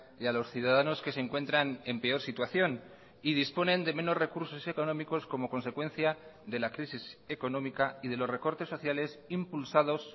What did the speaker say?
y a los ciudadanos que se encuentran en peor situación y disponen de menos recursos económicos como consecuencia de la crisis económica y de los recortes sociales impulsados